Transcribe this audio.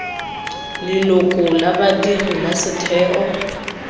leloko la badiri la setheo